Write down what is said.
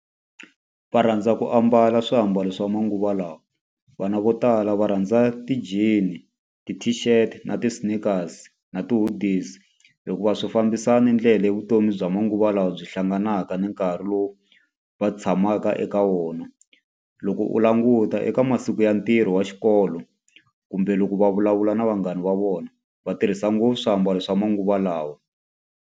Va rhandza ku ambala swiambalo swa manguva lawa. Vana vo tala va rhandza ti-jean, ti-tshift, na ti-sneakers, na ti-hoodies hikuva swi fambisana ndlela ya vutomi bya manguva lawa byi hlanganaka ni nkarhi lowu va tshamaka eka wona. Loko u languta eka masiku ya ntirho wa xikolo, kumbe loko va vulavula na vanghana va vona, va tirhisa ngopfu swiambalo swa manguva lawa.